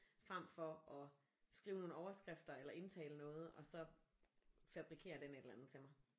Frem for at skrive nogle overskrifter eller indtale noget og så fabrikerer den et eller andet til mig